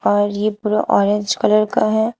और ये पूरा ऑरेंज कलर का है।